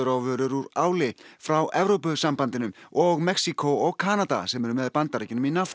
á vörur úr áli frá Evrópusambandinu og Mexíkó og Kanada sem eru með Bandaríkjunum í